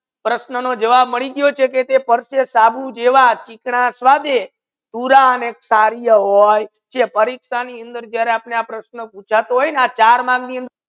પ્રશ્ના નો જવાબ માડી ગયો છે કે પ્રશ્ના નો જવાબ માડી ગયો છે કે સાબુ જેવા ચિકના પરિક્ષા ની અંદર આ જ્યારે પૂછે